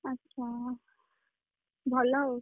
ଆ ଚ୍ଛା, ଭଲ ଆଉ।